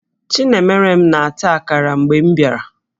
Chinemerem na-ata akara mgbe m bịara